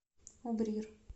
убрир